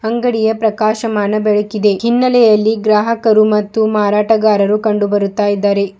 ಅಂಗಡಿಯ ಪ್ರಕಾಶಮಾನ ಬೆಳಕಿದೆ ಕಿನ್ನಲೆಯಲ್ಲಿ ಗ್ರಾಹಕರು ಮತ್ತು ಮಾರಾಟಗಾರರು ಕಂಡು ಬರುತ್ತಾ ಇದ್ದಾರೆ.